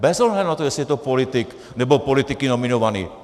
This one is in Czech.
Bez ohledu na to, jestli je to politik, nebo politiky nominovaný.